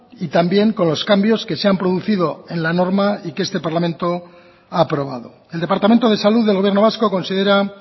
y también con los cambios que se han producido en la norma y que este parlamento ha aprobado el departamento de salud del gobierno vasco considera